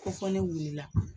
Ko fɔ ne wulila